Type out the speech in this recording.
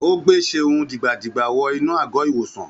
Ó gbe Seun dìgbà-dìgbà wọ inú àgọ́-ìwòsàn